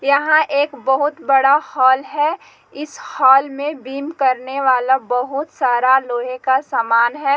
यहां एक बहुत बड़ा हॉल है। इस हॉल में बीम करने वाला बहुत सारा लोहे का समान है।